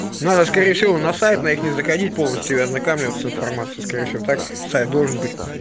надо скорее всего на сайт на их заходить полностью и ознакамливаться с информацией скорее всего так сайт должен быть